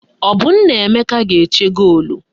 Ọ bụ Nnaemeka ga-eche goolu?